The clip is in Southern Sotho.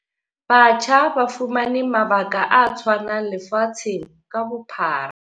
Batjha ba fumane mabaka a tshwanang lefatsheng ka bophara.